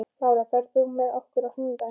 Lára, ferð þú með okkur á sunnudaginn?